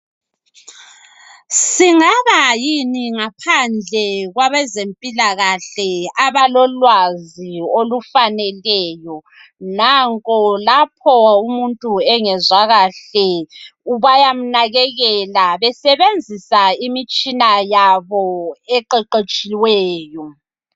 Singabayini ngaphandle kwabezempilakahle abalolwazi olufaneleyo nanko lapho umuntu engezwa kahle bayamnakekela besebenzisa imitshina yabo eqeqetshiyweyo